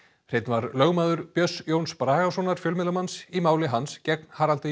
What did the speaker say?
hreinn var lögmaður Björns Jóns Bragasonar fjölmiðlamanns í máli hans gegn Haraldi